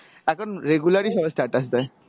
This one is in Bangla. এখন regular ই সবাই status দেই।